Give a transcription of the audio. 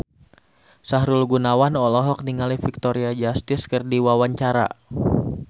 Sahrul Gunawan olohok ningali Victoria Justice keur diwawancara